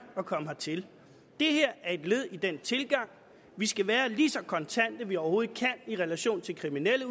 at komme hertil det her er et led i den tilgang vi skal være lige så kontante vi overhovedet kan i relation til kriminelle